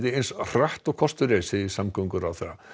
eins hratt og kostur er segir samgönguráðherra